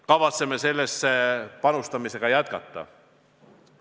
Kavatseme sellist panustamist jätkata.